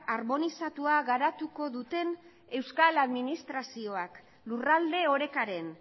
harmonizatua garatuko duten euskal administrazioak lurralde orekaren